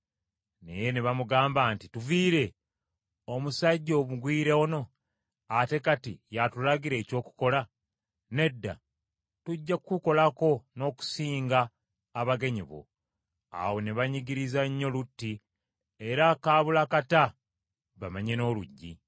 Naye ne bamugamba nti, “Tuviire! Omusajja omugwira ono, ate kati y’atulagira eky’okukola! Nedda, tujja kukukolako n’okusinga abagenyi bo.” Awo ne banyigiriza nnyo Lutti, era kaabula kata bamenye n’oluggi.